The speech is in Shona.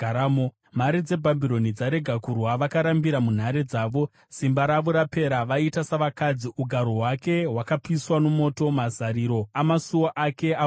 Mhare dzeBhabhironi dzarega kurwa; vakarambira munhare dzavo. Simba ravo rapera; vaita savakadzi. Ugaro hwake hwakapiswa nomoto; mazariro amasuo ake avhunika.